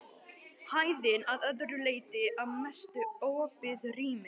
Hæðin að öðru leyti að mestu opið rými.